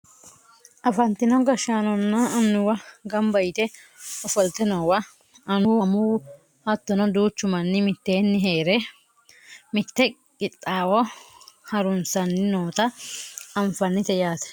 afantino gashshaanonna annuwu ganba yite ofolte noowa annuwu amuwu hattono duuchu manni mitteenni heere mitte qixxaawo harunsanni noota anfannite yaate